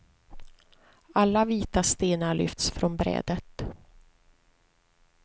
Alla vita stenar lyfts från brädet.